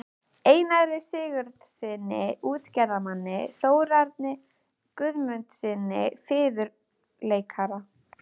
Einari Sigurðssyni útgerðarmanni, Þórarni Guðmundssyni fiðluleikara